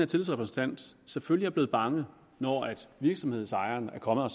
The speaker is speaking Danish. tillidsrepræsentant selvfølgelig er blevet bange når virksomhedsejeren er kommet og